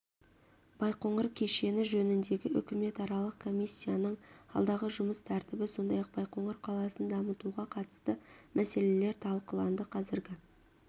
байқоңыр кешені жөніндегі үкіметаралық комиссияның алдағы жұмыс тәртібі сондай-ақ байқоңыр қаласын дамытуға қатысты мәселелер талқыланды қазіргі